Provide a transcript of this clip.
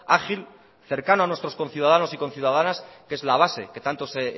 ágil cercano a nuestros conciudadanos y conciudadanas que es la base que tanto